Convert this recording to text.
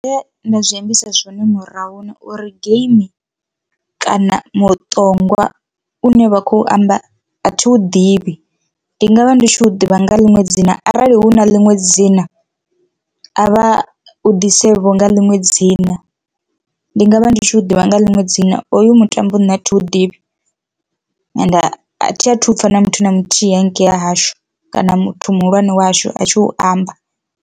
Nda zwi ambisa zwone murahuni uri game kana muṱongwa une vha khou amba athi u ḓivhi ndi nga vha ndi tshi u ḓivha nga ḽiṅwe dzina arali hu na ḽiṅwe dzina a vha u ḓise vho nga ḽiṅwe dzina, ndi nga vha ndi tshi u ḓivha nga ḽiṅwe dzina hoyu mutambo nṋe a thi u ḓivhi ende a thi athu u pfha na muthu na muthihi hangei ha hashu kana muthu muhulwane wa hashu a tshi u amba.